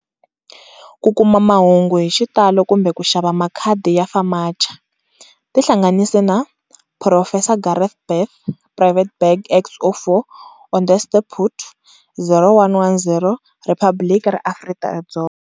Ku kuma mahungu hi xitalo kumbe ku xava makhadi ya FAMACHA, tihlanganisi na-Phurofesa Gareth Bath Private Bag X04, Onderstepoort, 0110 Riphabliki ra Afrika-Dzonga.